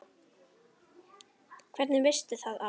Hvernig veistu það afi?